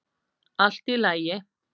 Allt í lagi?